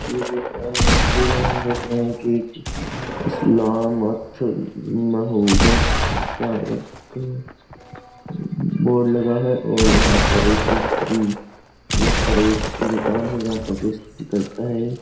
इस तस्वीर में हम देख रहे है कि का एक बोर्ड लगा हुआ है और यहाँ पर एक स्त्री प्रेस की दुकान है जहाँ पर स्त्री करता है।